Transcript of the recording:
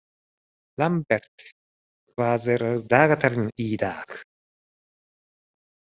Lambert, hvað er á dagatalinu í dag?